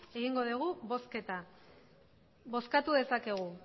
egingo dugu bozketa bozkatu dezakegu